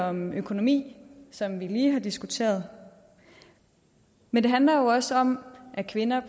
om økonomi som vi lige har diskuteret men det handler jo også om at kvinder